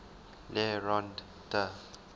le rond d